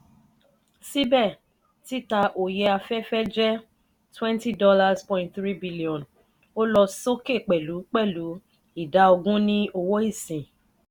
síbè títa òye afẹ́fẹ́ jẹ́ twenty dollars point three billion ó sì lọ sókè pẹ̀lú pẹ̀lú ìdá ogún ní owó ìsín.